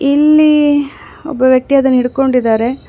ಇಲ್ಲಿ ಒಬ್ಬ ವ್ಯಕ್ತಿ ಅದನ ಹಿಡಿದುಕೊಂಡಿದಾರೆ.